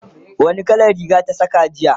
wani kalan Riga ta Saka jiya?